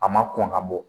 A ma kɔn ka bɔ